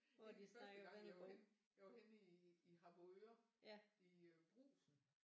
En af de første gange jeg var henne jeg var henne i Harboøre i Brugsen